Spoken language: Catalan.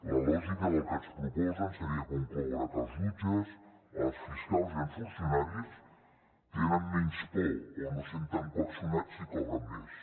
la lògica del que ens proposen seria concloure que els jutges els fiscals i els funcionaris tenen menys por o no es senten coaccionats si cobren més